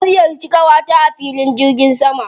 Na ziyarci ƙawata a filin jirgin sama.